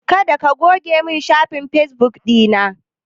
Kada ka goge min shafin fesbuk ɗina!